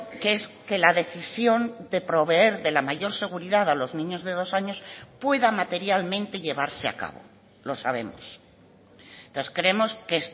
que es que la decisión de proveer de la mayor seguridad a los niños de dos años pueda materialmente llevarse a cabo lo sabemos entonces creemos que